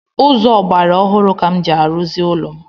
Ụzọ ọgbaraọhụrụ ka m ji arụzi ụlọ m